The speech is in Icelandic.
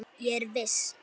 Ég er viss.